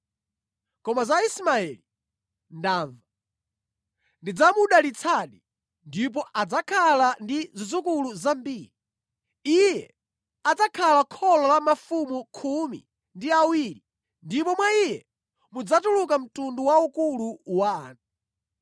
Koma za Ismaeli, ndamva. Ndidzamudalitsadi, ndipo adzakhala ndi zidzukulu zambiri. Iye adzakhala kholo la mafumu khumi ndi awiri ndipo mwa iye mudzatuluka mtundu waukulu wa anthu.